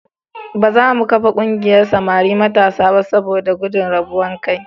Ba za mu kafa ƙungiyar samari matasa ba saboda gudun rabuwar kai.